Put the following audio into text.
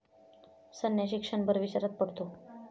संन्याशी क्षणभर विचारात पडतो.